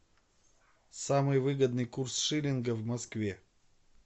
самый выгодный курс шиллинга в москве